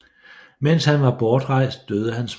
Mens han var bortrejst døde hans mor